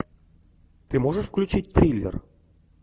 ты можешь включить триллер